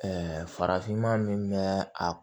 farafinna min bɛ a